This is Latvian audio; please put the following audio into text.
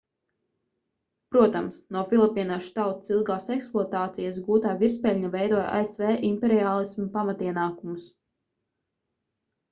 protams no filipīniešu tautas ilgās ekspluatācijas gūtā virspeļņa veidoja asv imperiālisma pamatienākumus